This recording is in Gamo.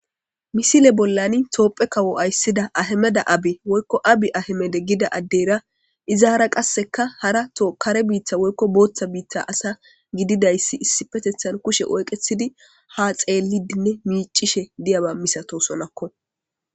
Misile bollani toophe kawo ayssida ahemeda abe woykko abi ahemeda gida addeyra izaara qasseka hara tokare biittha woykko booththa biitta asa gididayssi issi petethan kushe oyqethidi ha xeellidinne miicishe diyaba misato sonakko.